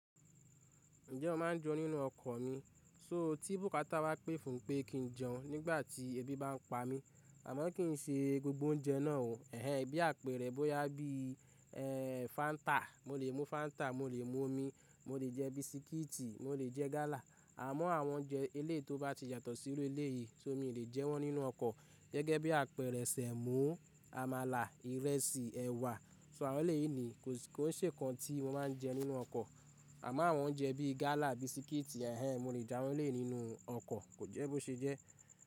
Ǹjẹ́ mo máa ń jẹun nínú ọkọ̀ mi? So tí bùkátà bá pè fún pé kí n jẹun nígbà tí ebi bá ń pa mí, àmọ́ kì í ṣe gbogbo oúnjẹ náà o. Ẹ̀hẹn, bí àpẹrẹ bó yá bí, ẹ́, Fáńtà, mo lè mú Fáńtà, mo lè mú omi, mo lè jẹ bisikíìtì, mo lè jẹ gálà. Àmọ́ àwọn oúnjẹ eléyi tó bá ti yàtọ̀ síru eleyìí, so, mi lè jẹ wọ́n nínú ọkọ̀. Gẹ́gẹ́ bí àpẹrẹ, sẹ̀mọ́, àmàlà, ìrẹsì, ẹ̀wà. So àwọn éleyìí ni kò, kò ṣe nkan tí mo máa ń jẹ nínú ọkọ̀. Àmọ́ àwọn oúnjẹ bíi gálà, bisikíìtì, ẹ̀hẹn, mo lè je awọ́n eléyi nínú ọkọ̀, kò jẹ́ bó ṣe jẹ́.